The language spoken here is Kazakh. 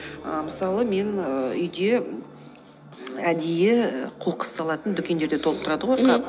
ыыы мысалы мен ыыы үйде әдейі і қоқыс салатын дүкендерде толып тұрады ғой қап мхм